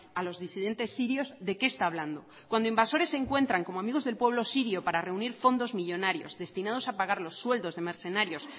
a los disidentes sirios de qué está hablando cuando invasores encuentran como amigos del pueblo sirio para reunir fondos millónarios destinados a pagar los sueldos de mercenarios